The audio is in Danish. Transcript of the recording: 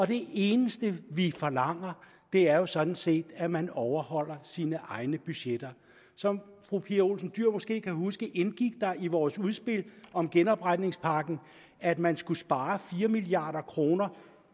det eneste vi forlanger er jo sådan set at man overholder sine egne budgetter som fru pia olsen dyhr måske kan huske indgik der i vores udspil om genopretningspakken at man skulle spare fire milliard kroner